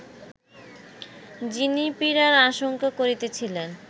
যিনি পীড়ার আশঙ্কা করিতেছিলেন